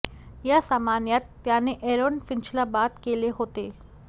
या सामन्यात त्याने ऍरोन फिंचला बाद केले होते